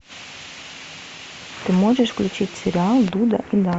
ты можешь включить сериал дуда и дада